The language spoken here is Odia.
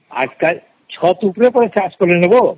ଆଜି କଲି ଛାତ ଉପରେ ଚାଷ କଲା ନେ ତ